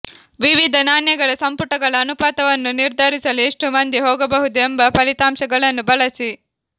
ವಿವಿಧ ನಾಣ್ಯಗಳ ಸಂಪುಟಗಳ ಅನುಪಾತವನ್ನು ನಿರ್ಧರಿಸಲು ಎಷ್ಟು ಮಂದಿ ಹೋಗಬಹುದು ಎಂಬ ಫಲಿತಾಂಶಗಳನ್ನು ಬಳಸಿ